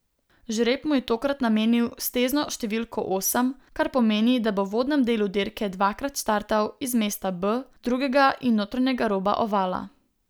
Žreb mu je tokrat namenil stezno številko osem, kar pomeni, da bo v uvodnem delu dirke dvakrat startal iz mesta B, drugega od notranjega roba ovala.